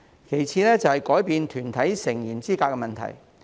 其次，是改變團體成員資格問題。